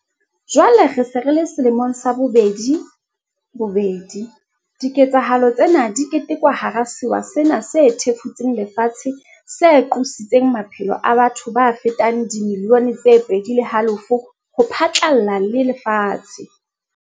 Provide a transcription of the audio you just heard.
Jwale re se re le selemong sa bobedi bobedi, diketsahalo tsena di ketekwa hara sewa sena se thefutseng lefatshe se qositseng maphelo a batho ba fetang dimilione tse pedi le halofo ho phatlalla le lefatshe.